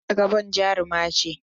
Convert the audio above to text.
Hadiza Gabon jaruma ce.